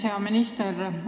Hea minister!